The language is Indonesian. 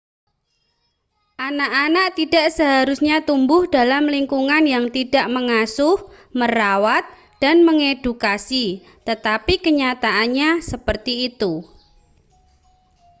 anak-anak tidak seharusnya tumbuh dalam lingkungan yang tidak mengasuh merawat dan mengedukasi tetapi kenyataannya seperti itu